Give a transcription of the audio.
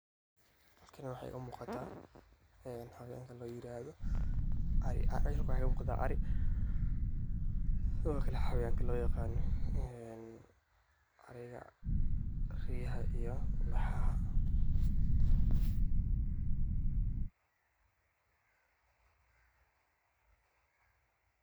Halkani waxa egaa muqaata xawayanka la yiraado waxey umuqtaan arii sidho xawayanka lo yaqano een ariiga riyaaha iyo laxaha.